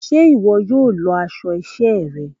Ṣe iwọ yóò lọ aṣọ iṣẹ rẹ?